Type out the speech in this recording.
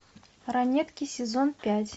ранетки сезон пять